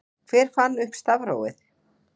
hver fann upp stafrófið